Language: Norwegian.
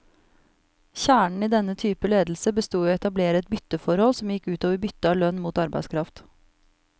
Kjernen i denne typen ledelse bestod i å etablere et bytteforhold, som gikk ut over byttet av lønn mot arbeidskraft.